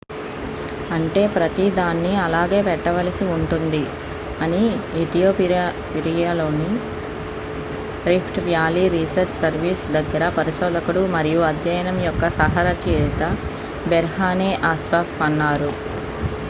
అంటే ప్రతీదాన్ని అలాగే పెట్టవలసి ఉంటుంది అని ఇథియోపియాలోని రిఫ్ట్ వ్యాలీ రీసెర్చ్ సర్వీస్ దగ్గర పరిశోధకుడు మరియు అధ్యయనం యొక్క సహ-రచయిత బెర్హానే అస్ఫావ్ అన్నారు